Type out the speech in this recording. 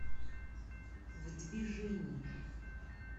в движении